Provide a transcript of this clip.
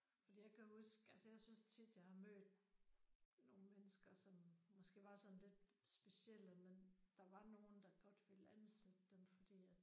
Fordi jeg kan huske altså jeg synes tit jeg har mødt nogle mennesker som måske var sådan lidt specielle men der var nogen der godt ville ansætte dem fordi at